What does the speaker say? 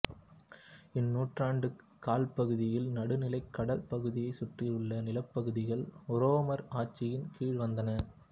இந்நூற்றாண்டுக் காலப்பகுதியில் நடுநிலக் கடல் பகுதியைச் சுற்றவுள்ள நிலப்பகுதிகள் உரோமர் ஆட்சியின் கீழ் வந்தன